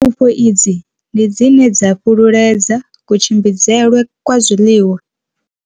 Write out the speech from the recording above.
Pfufho idzi ndi dzine dza fhululedza kutshimbidzelwe kwa zwiḽiwa.